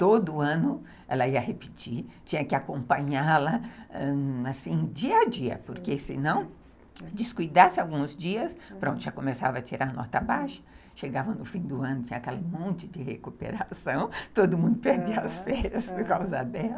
Todo ano ela ia repetir, tinha que acompanhá-la ãh dia a dia, porque senão descuidasse alguns dias, pronto, já começava a tirar nota baixa, chegava no fim do ano, tinha aquele monte de recuperação, todo mundo perdia as por causa dela.